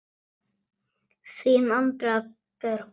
Þín, Andrea Björg.